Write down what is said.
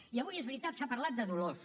i avui és veritat s’ha parlat de dolors